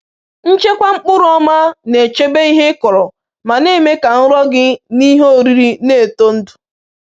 Nchekwa mkpụrụ ọma na-echebe ihe ị kọrọ ma na-eme ka nrọ gị n’ihe oriri na-eto ndụ.